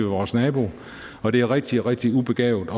vores nabo og det er rigtig rigtig ubegavet